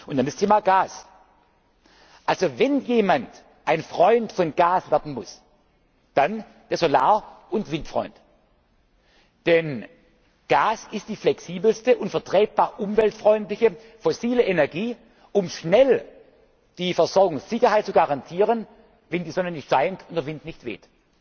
tun wollen. Dann das Thema Gas Wenn jemand ein Freund von Gas werden muss, dann der Solar und Windfreund. Denn Gas ist die flexibelste und vertretbar umweltfreundliche fossile Energie, um schnell die Versorgungssicherheit zu garantieren, wenn die Sonne nicht scheint und der Wind